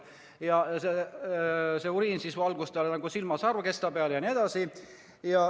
Uriin valgus tal silma sarvkesta peale.